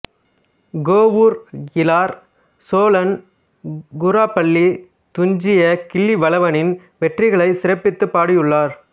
கோவூர் கிழார் சோழன் குராப்பள்ளித் துஞ்சிய கிள்ளிவளவனின் வெற்றிகளைச் சிறப்பித்துப் பாடியுள்ளார்